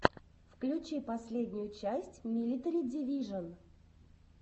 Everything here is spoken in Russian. включи последнюю часть милитари дивижон